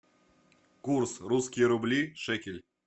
курс русские рубли шекель